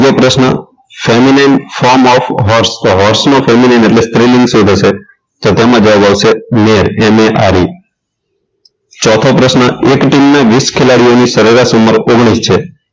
પ્રશ્ન permanent form of family member એટલે સ્ત્રીલિંગ શું થશે તો તેમાં જવાબ આવશે male female આ રીતે ચોથો પ્રશ્ન એક ટીમની વીસ ખેલાડીની સરેરાશ ઉંમર ઓગણીસ છે